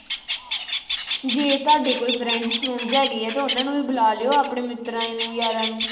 ਜੇ ਤੁਹਾਡੇ ਕੋਈ friends ਫਰੂੰਡਸ ਹੈਗਾ ਆ ਤਾਂ ਉਨ੍ਹਾਂ ਨੂੰ ਵੀ ਬੁਲਾ ਲਿਉ, ਆਪਣੇ ਮਿੱਤਰਾਂ ਨੂੰ, ਯਾਰਾਂ ਨੂੰ।